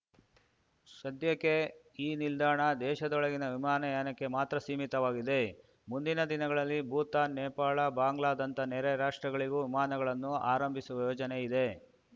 ಸದ್ಯಕ್ಕೆ ಈ ನಿಲ್ದಾಣ ದೇಶದೊಳಗಿನ ವಿಮಾನಯಾನಕ್ಕೆ ಮಾತ್ರ ಸೀಮಿತವಾಗಿದೆ ಮುಂದಿನ ದಿನಗಳಲ್ಲಿ ಭೂತಾನ್‌ ನೇಪಾಳ ಬಾಂಗ್ಲಾದಂಥ ನೆರೆಯ ರಾಷ್ಟ್ರಗಳಿಗೂ ವಿಮಾನಗಳನ್ನು ಆರಂಭಿಸುವ ಯೋಜನೆ ಇದೆ